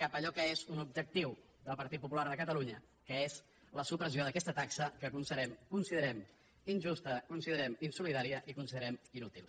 cap a allò que és un objectiu del partit popular de catalunya que és la supressió d’aquesta taxa que considerem injusta considerem insolidària i considerem inútil